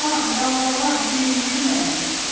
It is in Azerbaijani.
Dalğalan, dalğalan, sevindir məni.